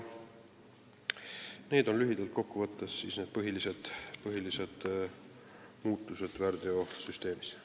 Need on lühidalt kokku võttes põhilised ettenähtud muudatused väärteokaristuste süsteemis.